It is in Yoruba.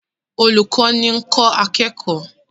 Olùkọ́ni ń kọ́ akẹ́kọ̀ọ́